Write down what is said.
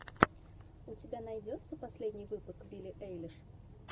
у тебя найдется последний выпуск билли эйлиш